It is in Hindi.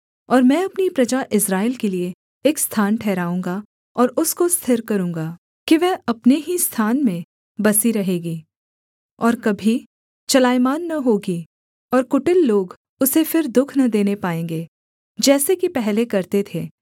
और मैं अपनी प्रजा इस्राएल के लिये एक स्थान ठहराऊँगा और उसको स्थिर करूँगा कि वह अपने ही स्थान में बसी रहेगी और कभी चलायमान न होगी और कुटिल लोग उसे फिर दुःख न देने पाएँगे जैसे कि पहले करते थे